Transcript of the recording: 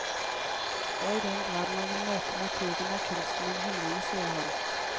Og i den grad man vil møte naturen, er kunsten en hindring, sier han.